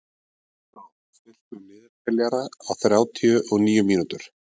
Konráð, stilltu niðurteljara á þrjátíu og níu mínútur.